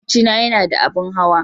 Makwabcina yana da abin hawa.